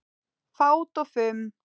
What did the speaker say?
Fát og fum